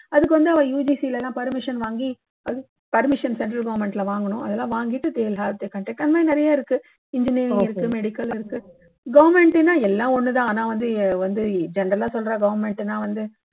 அதுக்கு வந்து அவா UGC ல எல்லாம் வாங்கி permission cental government ல வாங்கணும் அதெல்லாம் வாங்கிட்டு they will have they conduct ஆனா நிறைய இருக்கு engineering இருக்கு medical இருக்கு government னா எல்லாம் ஒண்ணு தான் ஆனா வந்து வந்து general ஆ சொல்றா government னா வந்து